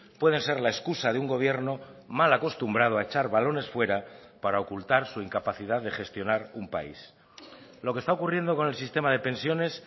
pueden ser la excusa de un gobierno mal acostumbrado a echar balones fuera para ocultar su incapacidad de gestionar un país lo que está ocurriendo con el sistema de pensiones